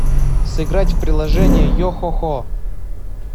сыграть в приложение йохохо